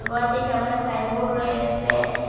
গরটি সামোনে সাইনবোর্ড রয়েসে।